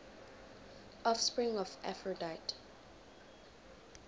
offspring of aphrodite